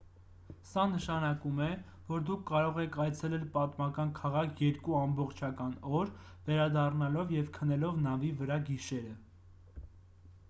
սա նշանակում է որ դուք կարող եք այցելել պատմական քաղաք երկու ամբողջական օր վերադառնալով և քնելով նավի վրա գիշերը